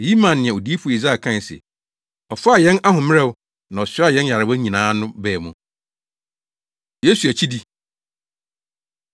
Eyi maa nea Odiyifo Yesaia kae se, “Ɔfaa yɛn ahoɔmmerɛw, na ɔsoaa yɛn nyarewa nyinaa” no baa mu. Yesu Akyidi